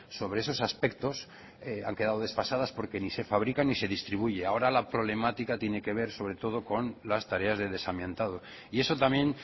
sobre esos aspectos han quedado desfasadas porque ni se fabrica ni se distribuye ahora la problemática tiene que ver sobre todo con las tareas de desamiantado y eso también